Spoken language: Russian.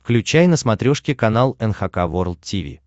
включай на смотрешке канал эн эйч кей волд ти ви